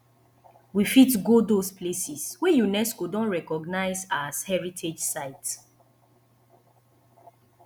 we fit go those places wey unesco don recognise as heritage site